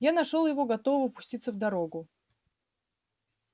я нашёл его готового пуститься в дорогу